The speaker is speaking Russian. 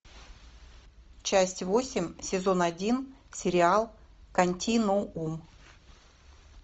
часть восемь сезон один сериал континуум